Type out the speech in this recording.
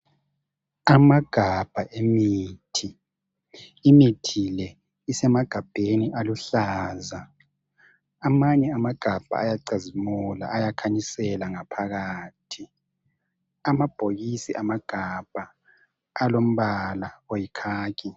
Amagabha emithi imithi le isemagabheni aluhlaza amanye amagabha ayacazimula ayakhanyisela ngaphakathi amabhokisi amagabha alombala oyi khakhi.